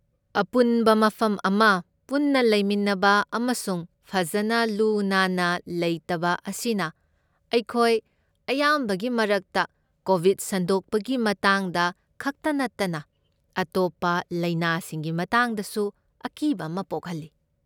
ꯑꯄꯨꯟꯕ ꯃꯐꯝ ꯑꯃ ꯄꯨꯟꯅ ꯂꯩꯃꯤꯟꯅꯕ ꯑꯃꯁꯨꯡ ꯐꯖꯅ ꯂꯨ ꯅꯥꯟꯅ ꯂꯩꯇꯕ ꯑꯁꯤꯅ ꯑꯩꯈꯣꯏ ꯑꯌꯥꯝꯕꯒꯤ ꯃꯔꯛꯇ, ꯀꯣꯕꯤꯗ ꯁꯟꯗꯣꯛꯄꯒꯤ ꯃꯇꯥꯡꯗ ꯈꯛꯇ ꯅꯠꯇꯅ ꯑꯇꯣꯞꯄ ꯂꯥꯏꯅꯥꯁꯤꯡꯒꯤ ꯃꯇꯥꯡꯗꯁꯨ, ꯑꯀꯤꯕ ꯑꯃ ꯄꯣꯛꯍꯜꯂꯤ꯫